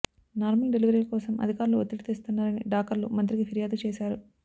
normal డెలివరీల కోసం అధికార్లు ఒత్తిడి తెస్తున్నా రని డాకర్లు మంత్రికి ఫిర్యాదు చేశారు